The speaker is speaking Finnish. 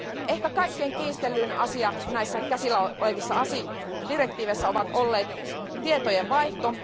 Ehkä kaikkein kiistellyin asia näissä käsillä olevissa direktiiveissä on ollut tietojenvaihto.